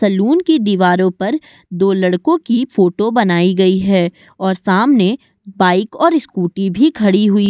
salon की दीवारों पर दो लड़कों की फोटो बनाई गई है और सामने बाइक और स्कूटी भी खड़ी हुई --